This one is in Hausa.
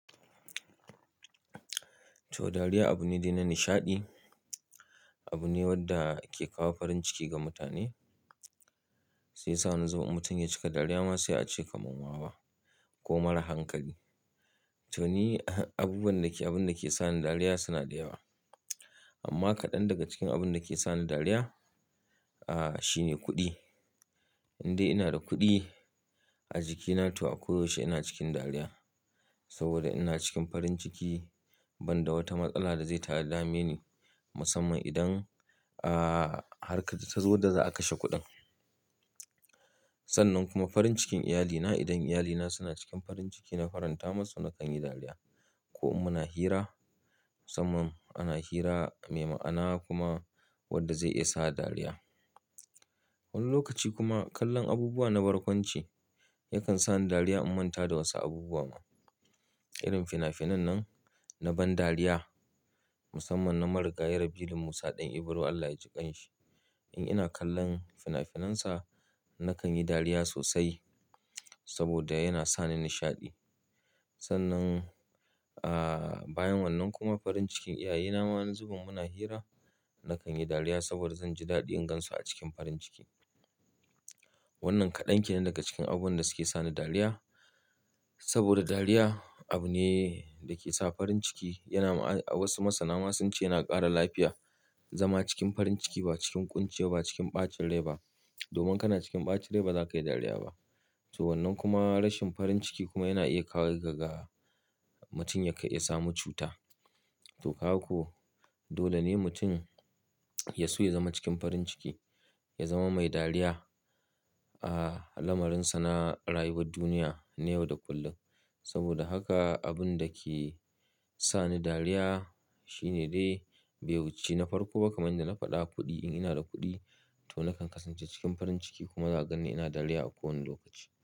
To, dariya abu ne dai na nishaɗi, abu ne wanda ke kawo farin ciki ga mutane, shiyasa wani zuban in mutun ya cika dariya ma sai a ce kamar wawa ko mara hankali. To ni, abubuwan da ke, abun da ke sa ni dariya suna da yawa. Amma kaɗan daga cikin abun da ke sa ni dariya, ah, shine kuɗi. In dai ina da kuɗi a jikina to a koyaushe ina cikin dariya saboda ina cikin farin ciki banda wata matsala da zai ta'addami ni musamman idan, ah, har kaza zuwa da za a kashe kuɗin. Sannan kuma farin cikin iyalina, idan iyalina suna cikin farin ciki na faranta masu na kan yi dariya. Ko muna hira musamman ana hira mai ma'ana kuma wanda zai iya sa dariya. Wani lokaci kuma kallon abubuwa na barkwanci yakan sa ni dariya in manta da wasu abubuwa. Irin finafinan nan na ban dariya musamman na marigaya rabilu Musa ɗan Ibro Allah ya jiƙan shi. In ina kallon finafinansa na kan yi dariya sosai saboda yana sa ni nishaɗi. Sannan, ah, bayan wannan kuma farin cikin iyaye na ma an zuba muna hira na kan yi dariya saboda zan ji daɗin gan su a cikin farin ciki. Wannan kaɗan ke ne daga cikin abun da suke sa ni dariya. Saboda dariya abu ne da ke sa farin ciki, yana ma'a, a wasu masana masu ce yana ƙara lafiya. Zama cikin farin ciki ba cikin ƙunciya ba cikin ɓacin rai ba. Domin kana cikin ɓacin rai ba za ka yi dariya ba. To wannan kuma rashin farin ciki kuma yana iya kawo kaga mutum ya ƙai, ya samu cuta. To kaga ko dole ne mutum ya so ya zama cikin farin ciki, ya zama mai dariya, ah, lamarin sa na rayuwar duniya ne yau da kullum. Saboda haka abun da ke sa ni dariya shine dai bai wuce na farko ba kamar yadda na faɗa kuɗi. In ina da kuɗi to na kan kasance cikin farin ciki kuma za a gan ni ina dariya a kowane lokaci.